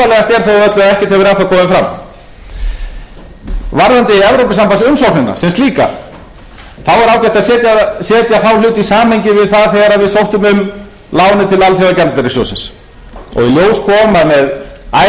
að setja þá hluti í samhengi við það þegar við sóttum um lánið til alþjóðagjaldeyrissjóðsins og í ljós kom að með icesave deiluna óleysta að þá